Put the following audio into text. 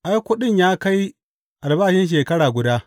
Ai, kuɗin ya kai albashin shekara guda.